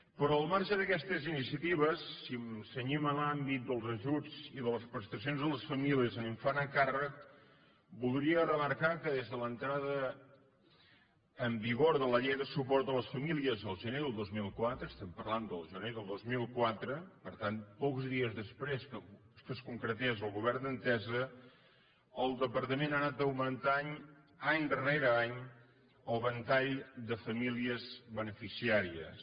però al marge d’aquestes iniciatives si ens cenyim a l’àmbit dels ajuts i de les prestacions a les famílies amb infant a càrrec voldria remarcar que des de l’entrada en vigor de la llei de suport a les famílies el gener del dos mil quatre estem parlant del gener de dos mil quatre per tant pocs dies després que es concretés el govern d’entesa el departament ha anat augmentant any rere any el ventall de famílies beneficiàries